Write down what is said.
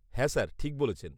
-হ্যাঁ স্যার, ঠিক বলেছেন।